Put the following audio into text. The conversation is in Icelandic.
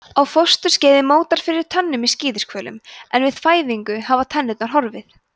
á fósturskeiði mótar fyrir tönnum í skíðishvölum en við fæðingu hafa tennurnar horfið